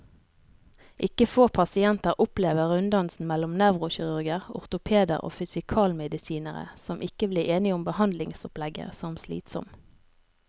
Ikke få pasienter opplever runddansen mellom nevrokirurger, ortopeder og fysikalmedisinere, som ikke blir enige om behandlingsopplegget, som slitsom.